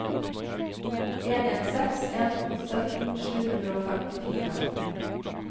en en seks en sytten sju hundre og femtifire